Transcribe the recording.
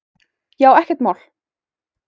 Já, ekkert mál!